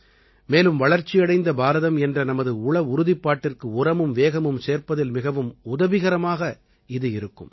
மேலும் வளர்ச்சியடைந்த பாரதம் என்ற நமது உள உறுதிப்பாட்டிற்கு உரமும் வேகமும் சேர்ப்பதில் மிகவும் உதவிகரமாக இது இருக்கும்